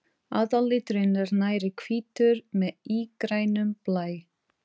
Aðalliturinn er nærri hvítur með ígrænum blæ.